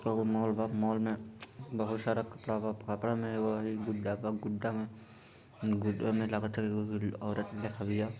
एगो मॉल वा मॉल में बहुत सारा कपड़ा वा कपड़ा में गुड्डा का गुड्डा में गुड्डा में लागत है है औरत भी--